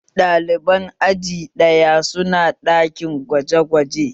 Ɗaliban aji ɗaya su na ɗakin gwaje gwaje